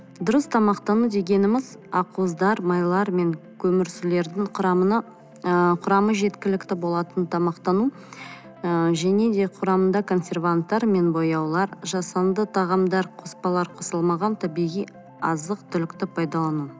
дұрыс тамақтану дегеніміз ақ уыздар майлар мен көмірсулардың құрамына ы құрамы жеткілікті болатын тамақтану ы және де құрамында консерванттар мен бояулар жасанды тағамдар қоспалар қосылмаған табиғи азық түлікті пайдалану